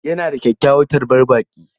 Yana da kyakkyawar tarbar baƙi.